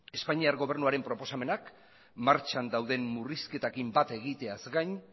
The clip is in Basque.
espainiar gobernuaren proposamenak martxan dauden murrizketarekin bat egiteaz gain